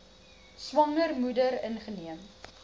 swanger moeder ingeneem